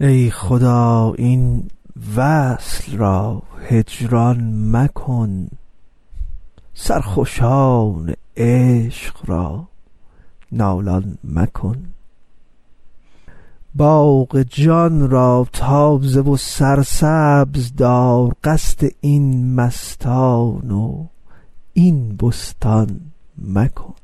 ای خدا این وصل را هجران مکن سرخوشان عشق را نالان مکن باغ جان را تازه و سرسبز دار قصد این مستان و این بستان مکن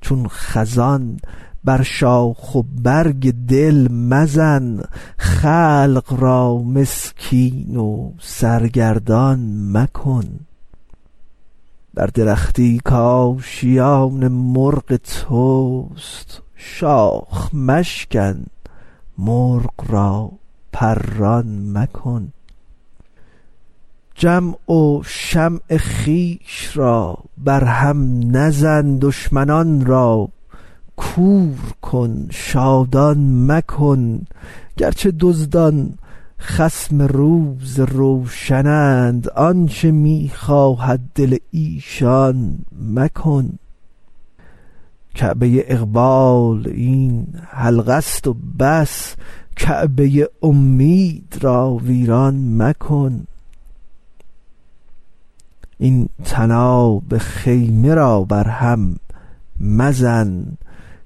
چون خزان بر شاخ و برگ دل مزن خلق را مسکین و سرگردان مکن بر درختی کآشیان مرغ توست شاخ مشکن مرغ را پران مکن جمع و شمع خویش را برهم مزن دشمنان را کور کن شادان مکن گرچه دزدان خصم روز روشنند آنچ می خواهد دل ایشان مکن کعبه اقبال این حلقه است و بس کعبه امید را ویران مکن این طناب خیمه را برهم مزن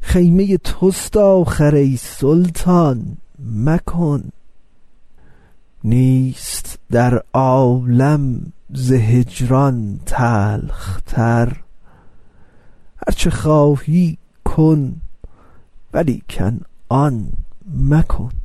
خیمه توست آخر ای سلطان مکن نیست در عالم ز هجران تلخ تر هرچه خواهی کن ولیکن آن مکن